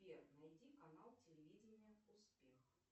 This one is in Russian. сбер найди канал телевидения успех